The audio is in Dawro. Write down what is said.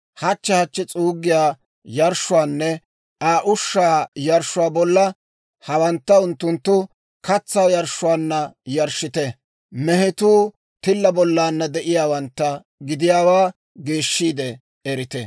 Hachche hachchi s'uuggiyaa yarshshuwaanne Aa ushshaa yarshshuwaa bolla, hawantta unttunttu katsaa yarshshuwaanna yarshshite. Mehetuu tilla bollana de'iyaawantta gidiyaawaa geeshshiide erite.